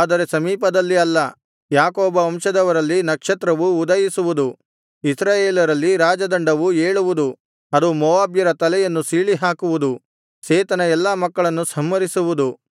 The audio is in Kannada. ಆದರೆ ಸಮೀಪದಲ್ಲಿ ಅಲ್ಲ ಯಾಕೋಬ ವಂಶದವರಲ್ಲಿ ನಕ್ಷತ್ರವು ಉದಯಿಸುವುದು ಇಸ್ರಾಯೇಲರಲ್ಲಿ ರಾಜದಂಡವು ಏಳುವುದು ಅದು ಮೋವಾಬ್ಯರ ತಲೆಯನ್ನು ಸೀಳಿಹಾಕುವುದು ಸೇತನ ಎಲ್ಲಾ ಮಕ್ಕಳನ್ನು ಸಂಹರಿಸಿವುದು